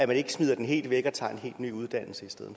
man ikke smider den helt væk og tager en helt ny uddannelse i stedet